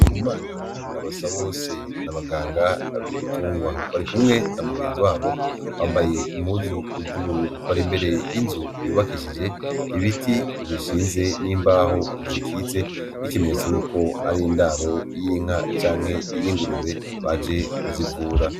Ndikumana na Basabose n'abaganga bibi tungwa bari kumwe n'amugenzi wabo bambaye impuzu zu bururu bari imbere yinzu y'ubakishije ibiti bishinze n'imbaho zikitse nkiki menyetso yuko ari indaro yinka canke y'ingurube baje kuzivura.